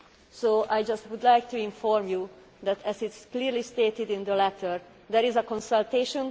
So, I would just like to inform you that, as is clearly stated in the letter, there is a consultation.